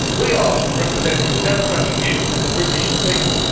We are representing the democratic views of the British people.